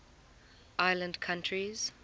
island countries